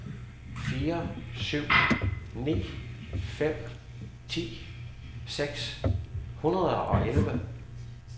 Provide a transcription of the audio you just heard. fire syv ni fem ti seks hundrede og elleve